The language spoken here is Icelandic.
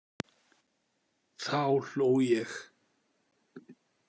Þá hló ég.